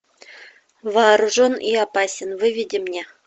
вооружен и опасен выведи мне